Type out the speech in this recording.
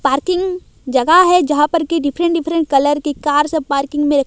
parking जगह है जहां पर की डिफरेंट डिफरेंट कलर की कार सब पार्किंग मे--